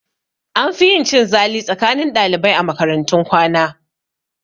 An fi yin cin zali tsakanin ɗalibai a makaratun kwana